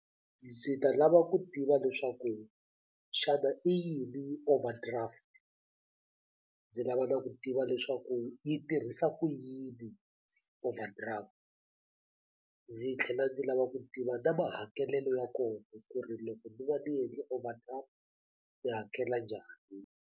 Ndzi ta lava ku tiva leswaku xana i yini overdraft ndzi lava na ku tiva leswaku yi tirhisa ku yini overdraft ndzi tlhela ndzi lava ku tiva na mahakelelo ya kona ku ri loko ni va ni endle overdraft ni hakela njhani.